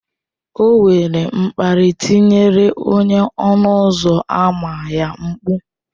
O were mkparị tiere onye ọnụ ụzọ ámá ya mkpu